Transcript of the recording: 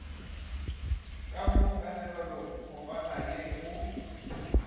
ka mo kanegelokopaneng ye go